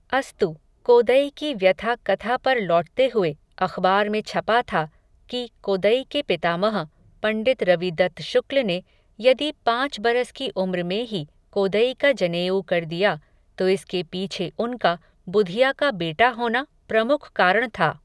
अस्तु, कोदई की व्यथा कथा पर लौटते हुए, अख़बार में छपा था, कि, कोदई के पितामह, पण्डित रविदत्त शुक्ल ने, यदि पाँच बरस की उम्र में ही, कोदई का जनेऊ कर दिया, तो इसके पीछे उनका, बुधिया का बेटा होना, प्रमुख कारण था